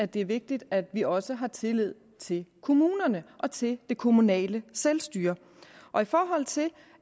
det er vigtigt at vi også har tillid til kommunerne og til det kommunale selvstyre og i forhold til